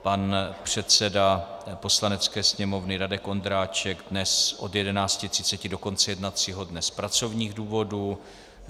Pan předseda Poslanecké sněmovny Radek Vondráček dnes od 11.30 do konce jednacího dne z pracovních důvodů.